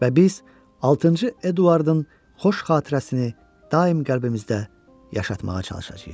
Və biz altıncı Eduardın xoş xatirəsini daim qəlbimizdə yaşatmağa çalışacağıq.